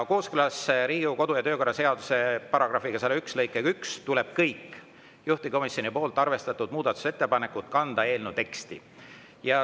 Kooskõlas Riigikogu kodu‑ ja töökorra seaduse § 101 lõikega 1 tuleb kõik juhtivkomisjoni arvestatud muudatusettepanekud kanda eelnõu teksti.